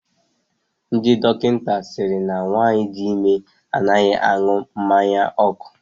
Ndị dọkịta sịrị na nwaanyị di ime anaghị aṅụ mmanya ọkụ.